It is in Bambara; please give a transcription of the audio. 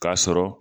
K'a sɔrɔ